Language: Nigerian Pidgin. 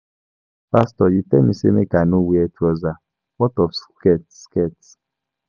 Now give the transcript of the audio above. Pastor you tell me say make I no wear trouser, what of shirt skirt?